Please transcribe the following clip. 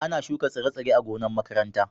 Ana shuka tsire-tsire a gonan' makaranta.